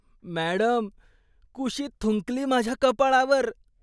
Madam, Khushi थुंकली माझ्या कपाळावर.